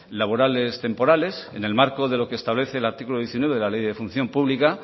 laborales temporales en el marco de lo que establece el artículo diecinueve de la ley de función pública